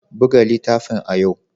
Buga littafin a yau!